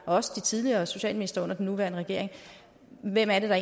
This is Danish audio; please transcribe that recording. også de tidligere socialministre under den nuværende regering hvem er det der